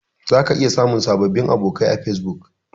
Zaka iya samun sababbin abokai a Fesbuk.